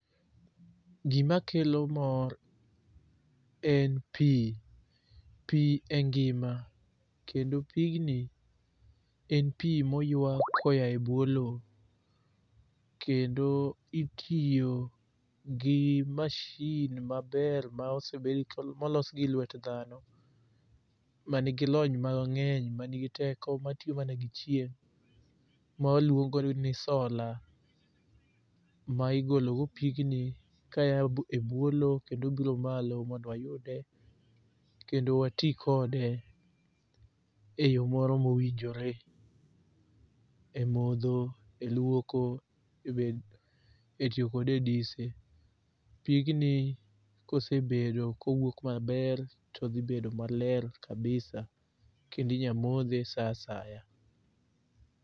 Gimakelo mor en pi, pi e ngima kendo pigni en pi moywa koya e bwo lo kendo itiyo gi mashin maber molos gi lwet dhano mangi lony mang'eny manigi teko matiyo mana gi chieng' ma waluongo ni sola ma igologo pigni kaya e bwo lo kendo biro malo mondo wayude kendo wati kode e yo moro mowinjore e modho, e lwoko, e tiyokode e dise. Pigni kosebedo kowuok maber todhibedo maler kabisa kendo inya modhe sa asaya.